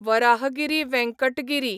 Varahagiri Venkata Giri